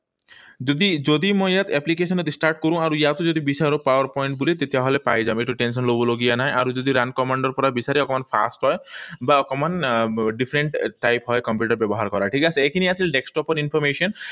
যদি যদি মই ইয়াত application ত start কৰোঁ, আৰু ইয়াতো যদি বিচাৰো PowerPoint বুলি, তেতিয়াহলে পাই যাম। সেইটো tension লবলগীয়া নাই। আৰু যদি run command ৰ পৰা বিচাৰে অকণমান fast হয়, বা অকণমান আহ different type হয়, কম্পিউটাৰ ব্যৱহাৰ কৰা। ঠিক আছে? এইখিনি আছিল desktop ৰ information